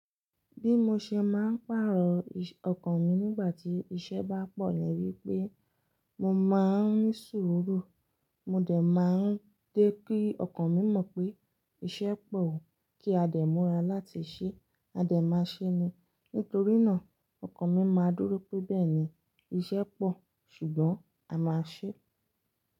Bí mo ṣe máa ń pàrọ̀ ọkàn mi nígbà tí iṣẹ́ bá pọ̀ ni wípé mo máa ń ní sùúrù, mo dẹ̀ máa ń jé kí ọkàn mi mọ̀ pé iṣẹ́ pọ̀ o kí a dè mura láti ṣe, a dè máa ṣe ni. Nítorí náà, ọkàn mi máa dúró pé bẹ́ẹ̀ ni, iṣẹ́ pọ̀ ṣùgbọ́n a máa ṣe é.